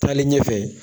Taalen ɲɛfɛ